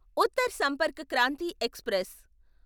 Uttar Sampark Kranti express